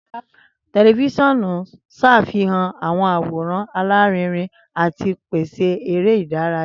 Tẹlifisiọnu n ṣafihan awọn aworan larinrin ati pese ere idaraya.